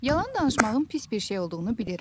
Yalan danışmağın pis bir şey olduğunu bilirəm.